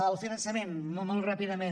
el finançament molt ràpidament